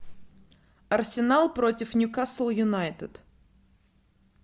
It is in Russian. арсенал против ньюкасл юнайтед